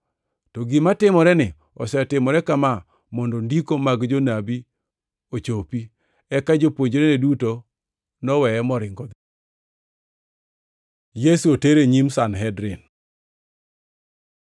To gima timoreni osetimore kama mondo Ndiko mag jonabi ochopi.” Eka jopuonjre duto noweye moringo odhi. Yesu oter e nyim Sanhedrin